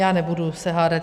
Já se nebudu hádat.